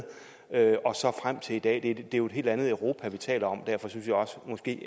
og så frem til i dag for det er jo et helt andet europa vi taler om og derfor synes jeg også